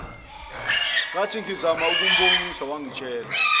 ngathingizama ukumbonisa wangitshela